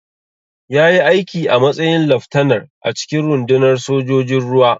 Ya yi aiki a matsayin laftanar a cikin rundunar sojojin ruwa.